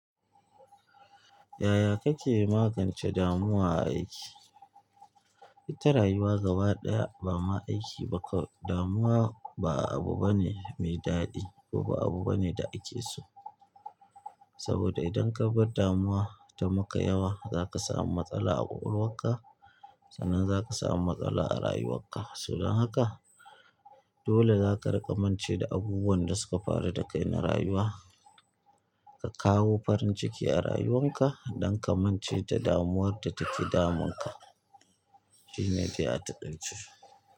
Yaya kake magance damuwa a aiki? Ita rayuwa gaba ɗaya ba ma aiki ba kawai. Damuwa ba abu bane mai daɗi kuma ba abu bane da ake so. Saboda idan ka bar damuwa ta maka yawa, za ka samu matsala a ƙwakwalwarka, sannan za ka samu matsala a rayuwar ka. So donboda haka dole za ka riƙa mance da abubuwan da suka faru da kai na rayuwa. Ka kawo farin ciki a rayuwan ka don ka mance da damuwar da take damun ka. Shine dai a taƙaice.